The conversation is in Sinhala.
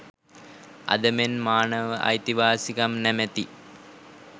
අද මෙන් මානව අයිතිවාසිකම් නමැති